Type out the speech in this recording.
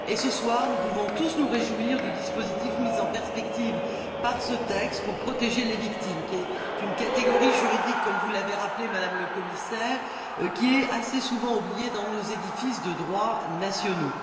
Ce soir, nous pouvons tous nous réjouir du dispositif mis en perspective par ce texte pour protéger les victimes, qui sont une catégorie juridique, comme vous l'avez rappelé, Madame la Commissaire, assez souvent oubliée dans nos systèmes juridiques nationaux.